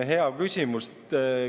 Hea küsimus!